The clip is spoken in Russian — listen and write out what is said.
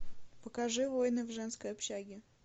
покажи войны в женской общаге